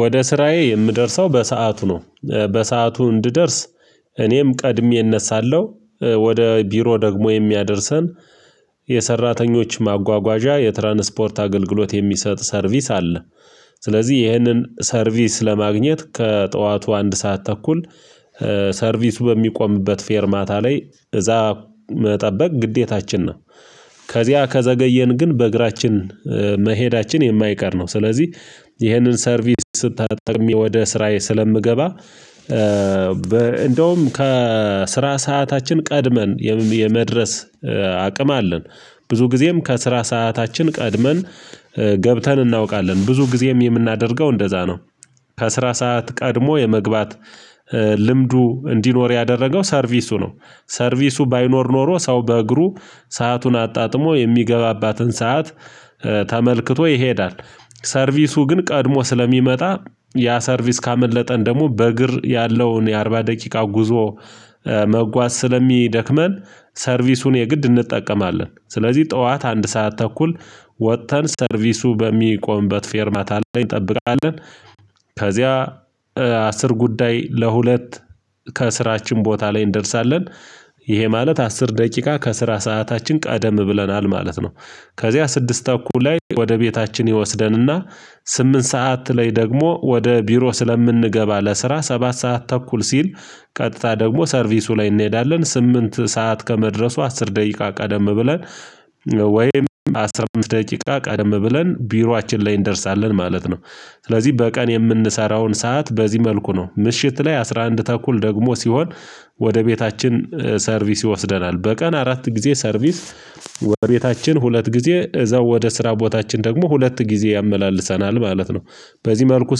ወደ ስራዬ የምደርሰው በሰአቱ ነው በሰአቱ እንድደርስ እኔም ቀድሜ እነሳለሁ ወደ ቢሮ ደግሞ የሚያደርሰን የሰራተኞች ማጓጓዣ የትራንስፖርት አገልግሎት የሚሰጥ ሰርቪስ አለ። ስለዚህ ይህንን ሰርቪስ ለማግኘት ከጠዋቱ አንድ ሰዓት ተኩል ሰርቪሱ በሚቆምበት ፌርማታ ላይ እዛ መጠበቅ ግዴታችን ነው። ከዘገየን ግን በእግራችን መሄዳችን የማይቀር ነው ስለዚህ ይሀንን ሰርቪስ ስተጠቅሜ ወደ ስራዬ ስለምገባ። እንደውም ከስራ ሰዓታችን ቀድመን የመድረስ አቅም አለን ብዙ ጊዜም ከስራ ሰዓታችን ቀድመን ገብተን እናውቃለን ብዙ ጊዜም የምናደርገው እንደዛ ነው። ከስራ ሰዓት ቀድሞ የመግባት ልምዱ እንዲኖር ያደረገው ሰርቪሱ ነው። ሰርቪሱ ባይኖር ኖሮ ሰው በእግሩ ሰአቱን አጣጥሞ የሚገባባትን ሰዓት ተመልክቶ ይሄዳል። ሰርቪሱ ግን ቀድሞ ስለሚመጣ ያ ሰርቪስ ካመለጠን ደግሞ በእግር ያለውን የአርባ ደቂቃ ጉዞ መጓዝ ስለሚደክመን ሰርቪሱን የግድ እንጠቀማለን። ስለዚህ ጠዋት አንድ ሰዓት ተኩል ወጥተን ሰርቪሱ በሚቆምበት ፌርማታ ላይ እንጠብቃለን። ከዚያ አስር ጉዳይ ለሁለት ከስራችን ቦታ ላይ እንደርሳለን ይሄ ማለት አስር ደቂቃ ከስራ ሰዓታችን ቀደም ብለናል ማለት ነው። ከዚያ ስድስት ተኩል ላይ ወደ ቤታችን ይወስደንና ስምንት ሰዓት ላይ ደግሞ ወደ ቢሮ ስለምንገባ ለስራ ሰባት ሰዓት ተኩል ሲል ቀጥታ ደግሞ ሰርቪሱ ላይ እንሄዳለን ስምንት ሰዓት ከመድረሱ አስር ደቂቃ ቀደም ብለን ወይም አስራ አምስት ደቂቃ ቀደም ብለን ቢሯችን ላይ እንደርሳለን ማለት ነው። ስለዚህ በቀን የምንሰራውን ሰዓት በዚህ መልኩ ነው ምሽት ላይ አስራ አንድ ተኩል ደግሞ ሲሆን ወደ ቤታችን ሰርቪስ ይወስደናል በቀን አራት ጊዜ ሰርቪስ ወደ ቤታችን ሁለት ጊዜ እዛው ወደ ስራ ቦታችን ደግሞ ሁለት ጊዜ ያመላልሰናል ማለት ነው። በዚህ መልኩ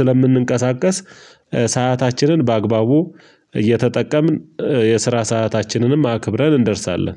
ስለምንንቀሳቀስ ሰአታችንን በአግባቡ እየተጠቀምን የስራ ሰዓታችንንም አክብረን እንደርሳለን